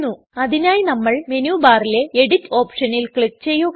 അതിനായി നമ്മൾ മെനു ബാറിലെ എഡിറ്റ് ഓപ്ഷനിൽ ക്ലിക് ചെയ്യുക